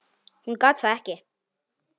Hún gat það ekki.